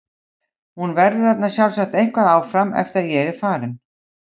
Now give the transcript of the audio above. Hún verður þarna sjálfsagt eitthvað áfram eftir að ég er farinn.